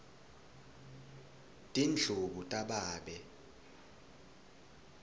tindlubu tababe